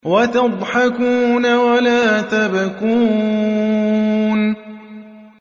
وَتَضْحَكُونَ وَلَا تَبْكُونَ